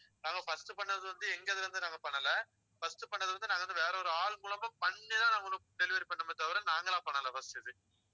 நாங்க first பண்ணது வந்து எங்க இதுல இருந்து நாங்க பண்ணல first பண்ணது வந்து நாங்க வந்து வேற ஒரு ஆள் மூலமா பண்ணிதான் நான் உங்களுக்கு delivery பண்ணணுமே தவிர நாங்களா பண்ணலை first இது